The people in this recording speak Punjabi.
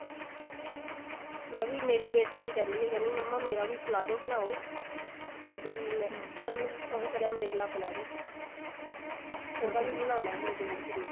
ਮੈਂ ਵੀ ਮੇਰੀ ਬੇਟੀ ਵੀ ਕਹਿੰਦੀ ਹੈ ਮੰਮਾ ਮੇਰਾ palazzo ਬਣਾਓ ਵੀ ਮੈਂ ਇੱਕ ਤਾਂ ਮੈਂ ਉਹ ਕਰਇਆ umbrella palazzo ਉਹਦਾ ਵੀ ਬਣਾਉਣਾ ਮੈਂ ਦੇਖਦੀ ਹਾਂ